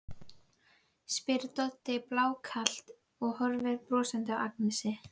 spyr Doddi blákalt og horfir brosandi á Agnesi.